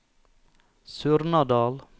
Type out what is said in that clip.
Surnadal